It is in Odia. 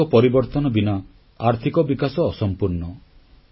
ସାମାଜିକ ପରିବର୍ତ୍ତନ ବିନା ଆର୍ଥିକ ବିକାଶ ଅସମ୍ପୂର୍ଣ୍ଣ